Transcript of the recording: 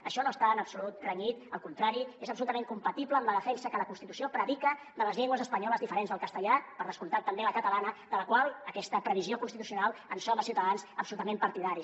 això no està en absolut renyit al contrari és absolutament compatible amb la defensa que la constitució predica de les llengües espanyoles diferents del castellà per descomptat també la catalana de la qual d’aquesta previsió constitucional en som a ciutadans absolutament partidaris